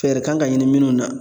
Fɛɛrɛ kan ka ɲini minnu na